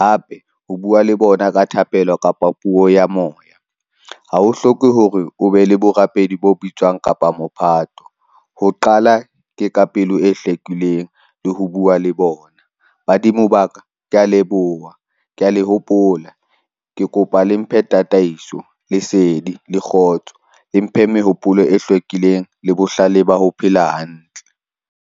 Hape, ho bua le bona ka thapelo kapa puo ya moya. Hao hloke hore o be le borapedi bo bitswang kapa mophato. Ho qala ke ka pelo e hlwekileng le ho bua le bona badimo ba ka ke a leboha, ke a le hopola, ke kopa le mphe tataiso, lesedi le kgotso. Le mphe mehopolo e hlwekileng le bohlale ba ho phela hantle.